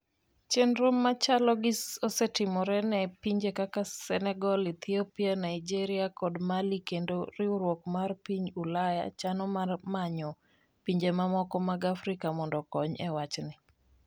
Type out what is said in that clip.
Chenro machalo gi osetimre ne pinje kaka Senegal, Ethiopia, Naigeria kod Mali kendo riwruok mar piny Ulaya chano mar manyo pinje mamoko mag Afrika mondo okony e wachni.